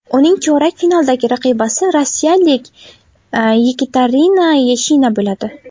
Uning chorak finaldagi raqibasi rossiyalik Yekaterina Yashina bo‘ladi.